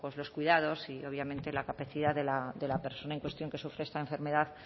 los cuidados y obviamente la capacidad de la persona en cuestión que sufre esta enfermedad